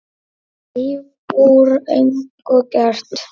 Líf úr engu gert.